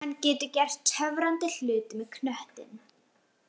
Hann getur gert töfrandi hluti með knöttinn.